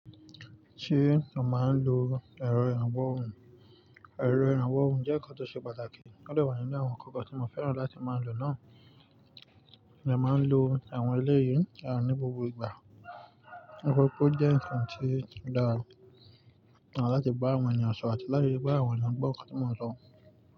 Ṣé màá ń lo ẹ̀rọ ìrànwọ́ òrùn? Ẹ̀rọ ìrànwọ́ òrùn jẹ́ nǹkan tó ṣe pàtàkì. Ó de wà nínú àwọn nǹkan kan tí mo fẹ́ràn láti máa ń lo náà. Mo de máa ń lo àwọn eléyìí ní gbogbo ìgbà. Nitoripe o jẹ́ ǹkan tí ó dára, àti láti bá àwọn ènìyàn sọ̀rọ̀ àti láti ríi pe àwọn ènìyàn gbọ́ nǹkan tí mo ń sọ.